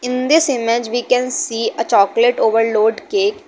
In this image we can see a chocolate overload cake.